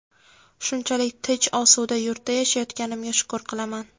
Shunchalik tinch, osuda yurtda yashayotganimga shukr qilaman.